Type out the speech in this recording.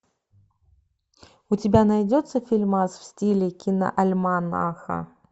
у тебя найдется фильмас в стиле киноальманаха